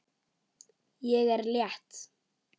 Ég er létt.